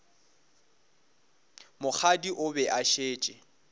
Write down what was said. mokgadi o be a šetše